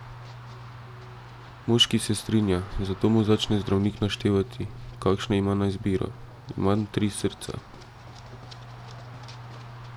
Moški se strinja, zato mu začne zdravnik naštevati, kakšne ima na izbiro: "Imam tri srca.